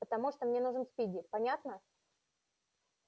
потому что мне нужен спиди понятно